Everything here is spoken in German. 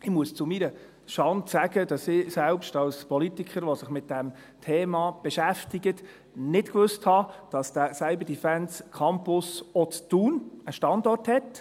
Ich muss zu meiner Schande gestehen, dass ich als Politiker, der sich mit diesem Thema beschäftigt, selbst nicht gewusst habe, dass dieser Cyber-Defence-Campus auch in Thun einen Standort hat.